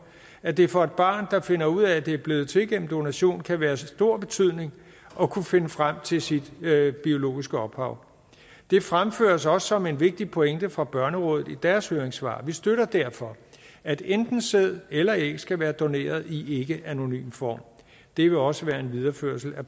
at det for et barn der finder ud af at det er blevet til ved donation kan være af stor betydning at kunne finde frem til sit biologiske ophav det fremføres også som en vigtig pointe fra børnerådet i deres høringssvar vi støtter derfor at enten sæd eller æg skal være doneret i ikkeanonym form det vil også være en videreførelse af